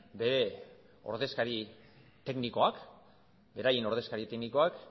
beraien ordezkari teknikoak